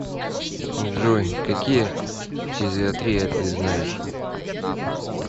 джой какие фтизиатрия ты знаешь